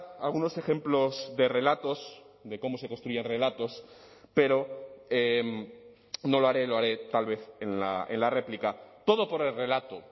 algunos ejemplos de relatos de cómo se construyen relatos pero no lo haré lo haré tal vez en la réplica todo por el relato